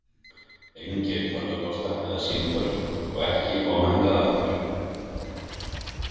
Engir tölvupóstar eða símtöl og ekki koma hingað aftur.